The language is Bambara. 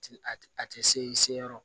A tɛ se i se yɔrɔ